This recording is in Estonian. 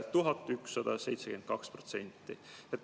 1172%!